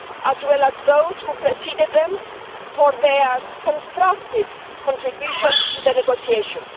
as well as those who preceded them, for their constructive contributions to the negotiations.